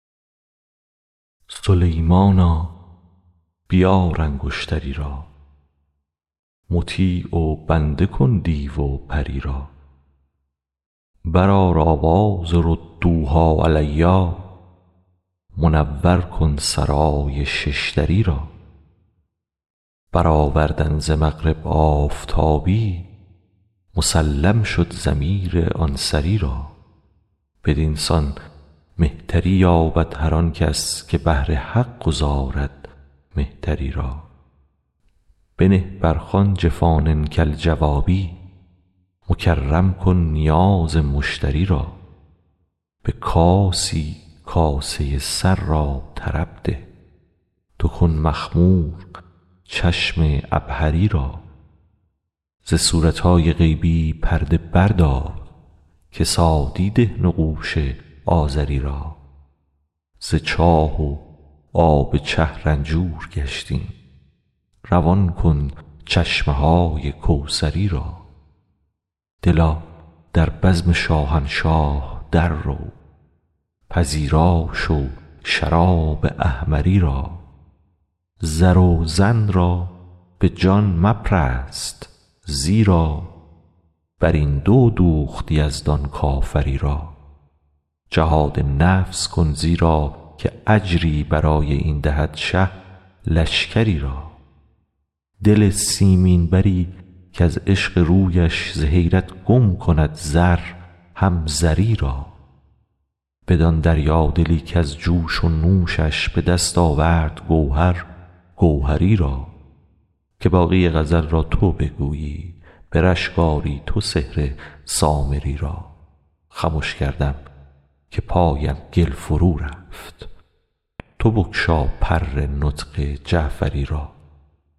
سلیمانا بیار انگشتری را مطیع و بنده کن دیو و پری را برآر آواز ردوها علی منور کن سرای شش دری را برآوردن ز مغرب آفتابی مسلم شد ضمیر آن سری را بدین سان مهتری یابد هر آن کس که بهر حق گذارد مهتری را بنه بر خوان جفان کالجوابی مکرم کن نیاز مشتری را به کاسی کاسه سر را طرب ده تو کن مخمور چشم عبهری را ز صورت های غیبی پرده بردار کسادی ده نقوش آزری را ز چاه و آب چه رنجور گشتیم روان کن چشمه های کوثری را دلا در بزم شاهنشاه دررو پذیرا شو شراب احمری را زر و زن را به جان مپرست زیرا بر این دو دوخت یزدان کافری را جهاد نفس کن زیرا که اجری برای این دهد شه لشکری را دل سیمین بری کز عشق رویش ز حیرت گم کند زر هم زری را بدان دریادلی کز جوش و نوشش به دست آورد گوهر گوهری را که باقی غزل را تو بگویی به رشک آری تو سحر سامری را خمش کردم که پایم گل فرورفت تو بگشا پر نطق جعفری را